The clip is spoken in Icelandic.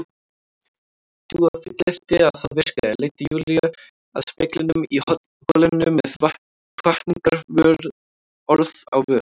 Dúa fullyrti að það virkaði, leiddi Júlíu að speglinum í holinu með hvatningarorð á vör.